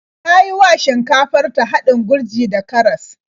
Ta yi wa shinkafar ta haɗin gurji da karas.